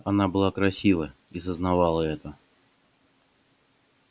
она была красива и сознавала это